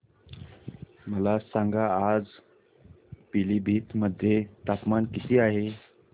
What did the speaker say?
मला सांगा आज पिलीभीत मध्ये तापमान किती आहे